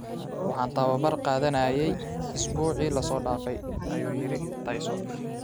"Waxaan tababar qaadanayay usbuucii la soo dhaafay," ayuu yiri Tyson.